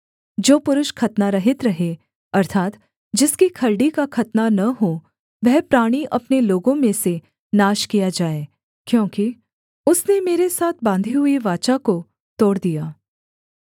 जो पुरुष खतनारहित रहे अर्थात् जिसकी खलड़ी का खतना न हो वह प्राणी अपने लोगों में से नाश किया जाए क्योंकि उसने मेरे साथ बाँधी हुई वाचा को तोड़ दिया